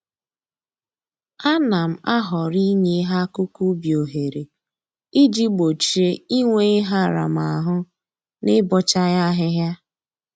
A na m ahọrọ inye ihe akụkụ ubi ohere iji gbochie inwe ihe aramahụ na ịbọcha ya ahịhịa